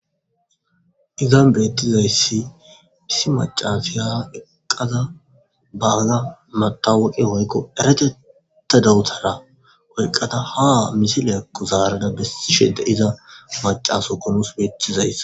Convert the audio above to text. Izan betizayisi issi macasiya eqada bana matawoqa woyikko dereteta dawutera oyiqada ha misilakko zarada besishshe de'iza macasiyokko nus betizayis